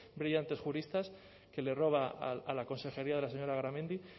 brillantes juristas que le roba a la consejería de la señora garamendi